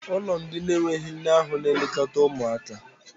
ụlọ ndị na-enweghị nne ahu na-elekọta ụmụaka.